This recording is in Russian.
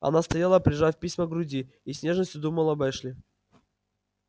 она стояла прижав письма к груди и с нежностью думала об эшли